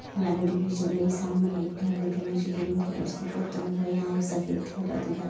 Light भी जल रही है एक घर दिख रहा है जो क्रीम कलर से पता हुआ है। यहाँ एक सफ़ेद थैला --